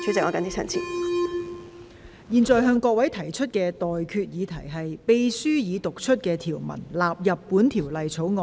我現在向各位提出的待決議題是：秘書已讀出的條文納入本條例草案。